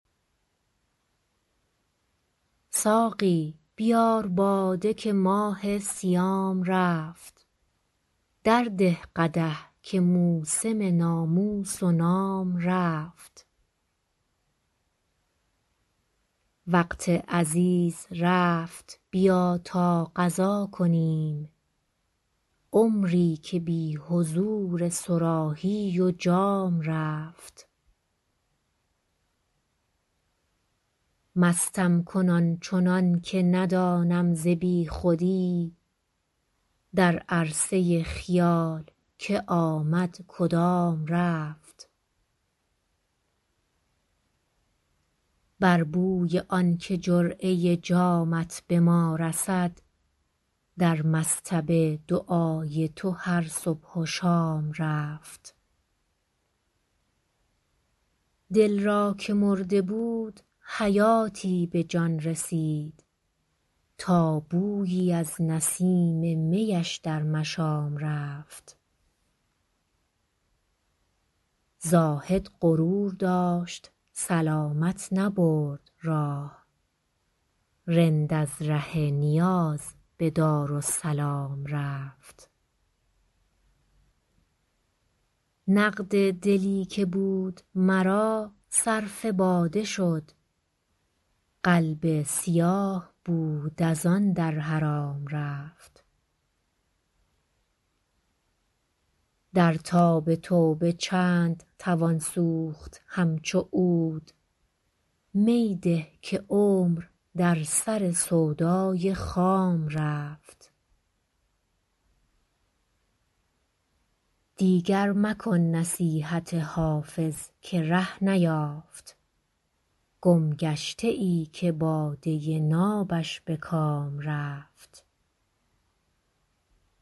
ساقی بیار باده که ماه صیام رفت درده قدح که موسم ناموس و نام رفت وقت عزیز رفت بیا تا قضا کنیم عمری که بی حضور صراحی و جام رفت مستم کن آن چنان که ندانم ز بی خودی در عرصه خیال که آمد کدام رفت بر بوی آن که جرعه جامت به ما رسد در مصطبه دعای تو هر صبح و شام رفت دل را که مرده بود حیاتی به جان رسید تا بویی از نسیم می اش در مشام رفت زاهد غرور داشت سلامت نبرد راه رند از ره نیاز به دارالسلام رفت نقد دلی که بود مرا صرف باده شد قلب سیاه بود از آن در حرام رفت در تاب توبه چند توان سوخت همچو عود می ده که عمر در سر سودای خام رفت دیگر مکن نصیحت حافظ که ره نیافت گمگشته ای که باده نابش به کام رفت